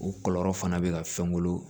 U kɔlɔlɔ fana bɛ ka fɛn wolo